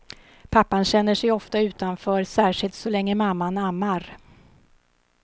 Pappan känner sig ofta utanför, särskilt så länge mamman ammar.